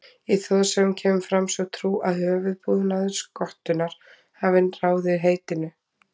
Í þjóðsögum kemur fram sú trú að höfuðbúnaður skottunnar hafi ráðið heitinu.